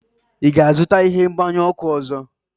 ị ga-azụta ihe mgbanyụ ọkụ ọzọ?